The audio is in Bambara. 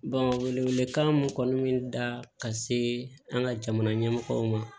wele wele kan mun kɔni bɛ da ka se an ka jamana ɲɛmɔgɔw ma